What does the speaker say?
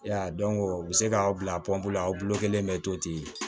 Ya dɔn o bɛ se k'aw bila la aw bolo kelen bɛ to ten